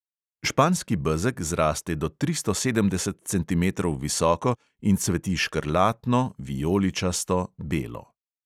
Španski bezeg zraste do tristo sedemdeset centimetrov visoko in cveti škrlatno, vijoličasto, belo.